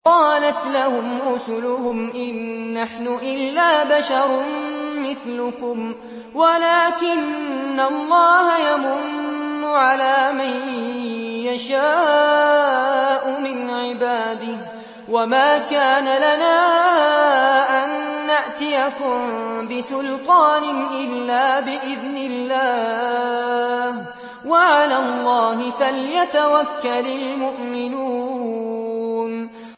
قَالَتْ لَهُمْ رُسُلُهُمْ إِن نَّحْنُ إِلَّا بَشَرٌ مِّثْلُكُمْ وَلَٰكِنَّ اللَّهَ يَمُنُّ عَلَىٰ مَن يَشَاءُ مِنْ عِبَادِهِ ۖ وَمَا كَانَ لَنَا أَن نَّأْتِيَكُم بِسُلْطَانٍ إِلَّا بِإِذْنِ اللَّهِ ۚ وَعَلَى اللَّهِ فَلْيَتَوَكَّلِ الْمُؤْمِنُونَ